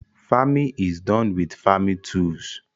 Farming is done with farming tools